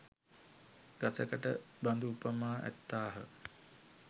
ගසකට බඳු උපමා ඇත්තාහ.